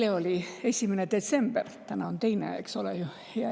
Eile oli 1. detsember, täna on 2., eks ole ju.